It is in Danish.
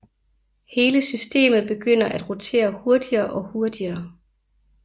Hele systemet begynder at rotere hurtigere og hurtigere